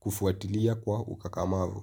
kufuatilia kwa ukakamavu.